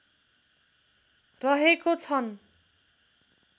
रहेको छन्